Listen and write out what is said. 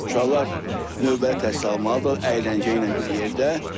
Uşaqlar növbəti təhsil almalıdırlar əyləncə ilə bir yerdə.